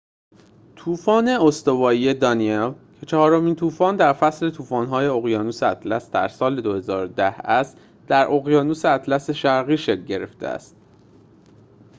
طوفان استوایی دانیل که چهارمین طوفان در فصل طوفان‌های اقیانوس اطلس در سال ۲۰۱۰ است در اقیانوس اطلس شرقی شکل گرفته است